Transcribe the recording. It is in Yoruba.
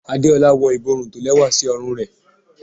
Adeola wọ iborún tó lewa sí òrùn re